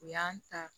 U y'an ta